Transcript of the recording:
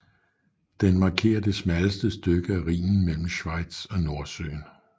Den markerer det smalleste stykke af Rhinen mellem Schweiz og Nordsøen